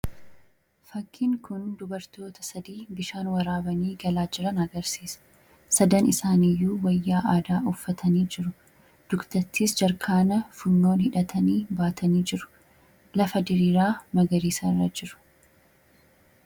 Fakkiin kun dubartoota sadii bishaan waraabanii galaa jiran agarsiisa. Sadan isaaniyyuu wayyaa aadaa uffatanii jiru dugdattis jariikaana funyoon hidhatanii baatanii jiru lafa diriiraa magarisarra jiru.